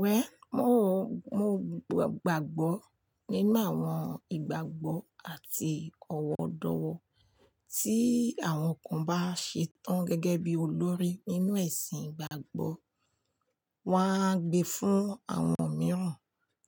Well, mò o gbàgbọ́ nínú àwọn ìgbàgbọ́ àti ọ̀wọ̀ọ̀dọ̀wọ̀ tí àwọn kan bá ṣetán gẹ́gẹ́ bí olórí nínú ẹ̀sìn ìgbàgbọ́, wọ́n á gbe fún àwọn mìíràn